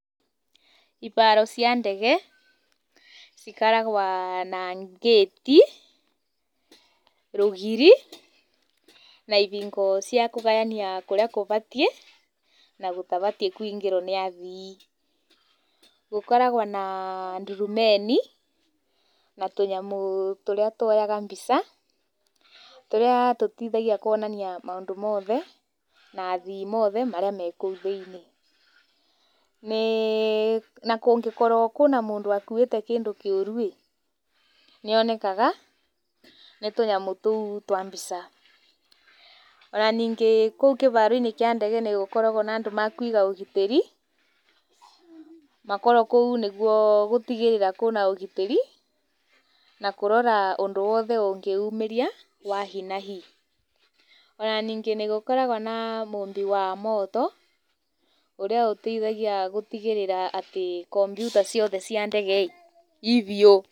Ibaro cia ndege cikaragwa na ngĩti, rũgiri na ibingo cia kũgayania kũrĩa kũbatiĩ na gũtabatiĩ kũingĩro nĩ athii. Gũkoragwo na ndurumeni na tũnyamũ tũrĩa tuoyaga mbica, tũrĩa tũteithagia kuonania maũndũ mothe, na athii mothe marĩa me kũu thĩiniĩ. Na kũgnĩkorwo kwĩna mũndũ akuwĩte kĩndũ kĩũru-ĩ, nĩonekaga nĩ tũnyamũ tũu twa mbica. Ona ningĩ kũu kĩbaro-inĩ kĩa ndege nĩgũkoragwo na andũ makuiga ũgitĩri, makoragwo kũu nĩguo gũtigĩrĩra kwĩna ũgitĩri na kũrora ũndũ wothe ũngĩumĩria wa hi na hi. Ona ningĩ nĩgũkoragwo na mũmbi wa moto, ũrĩa ũteithagia gũtigĩrĩra atĩ kompiuta ciothe cia ndege-ĩ i biũ.